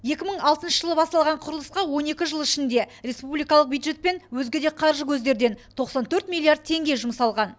екі мың алтыншы жылы басталған құрылысқа он екі жыл ішінде респубикалық бюджет пен өзге де қаржы көздерден тоқсан төрт миллиард теңге жұмсалған